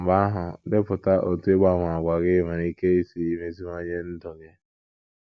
Mgbe ahụ, “ depụta otú ịgbanwe àgwà gị nwere ike isi meziwanye ndụ gị. ”